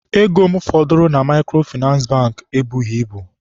Ego m fọdụrụ na Maịkrofịnansị Bankị ebughị ibu.